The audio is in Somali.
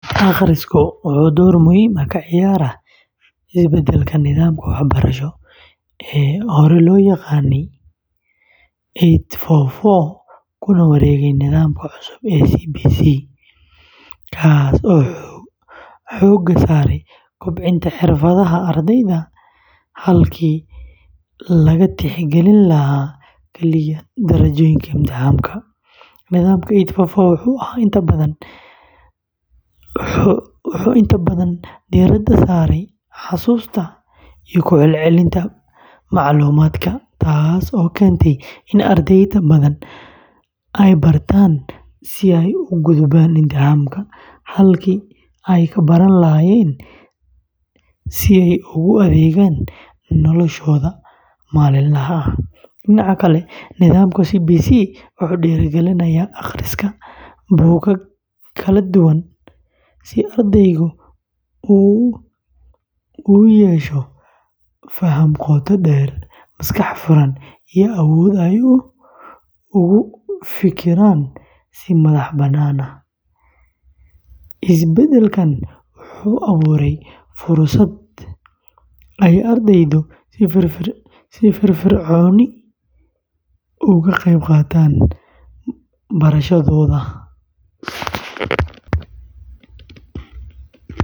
Akhrisku wuxuu door muhiim ah ka ciyaarayaa isbeddelka nidaamka waxbarasho ee hore loo yaqaanay eight four four kuna wareegay nidaamka cusub ee CBC kaas oo xoogga saaraya kobcinta xirfadaha ardayda halkii laga tixgelin lahaa kaliya darajooyinka imtixaanka. Nidaamka eight four four wuxuu inta badan diiradda saarayay xasuusta iyo ku celcelinta macluumaadka, taasoo keentay in arday badan ay bartaan si ay u gudbaan imtixaan, halkii ay ka baran lahaayeen si ay ugu adeegaan noloshooda maalinlaha ah. Dhinaca kale, nidaamka CBC wuxuu dhiirrigelinayaa akhriska buugaag kala duwan si ardaydu u yeeshaan faham qoto dheer, maskax furan, iyo awood ay ugu fikiraan si madax-bannaan. Isbeddelkan wuxuu abuurayaa fursad ay ardaydu si firfircoon uga qaybqaataan barashadooda.